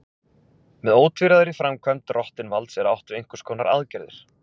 Með ótvíræðri framkvæmd drottinvalds er átt við einhvers konar aðgerðir.